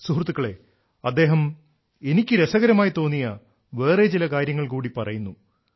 സുഹൃത്തുക്കളേ അദ്ദേഹം എനിക്കു രസകരമായി തോന്നിയ വേറെ ചില കാര്യങ്ങൾ കൂടി പറയുന്നു